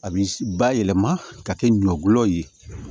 A bi bayɛlɛma ka kɛ ɲɔ ye